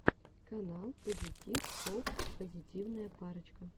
канал пазитив копл позитивная парочка